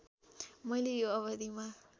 मैले यो अवधिमा